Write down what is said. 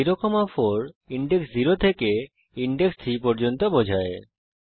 0 4 index 0 থেকে index 3 পর্যন্ত বোঝায়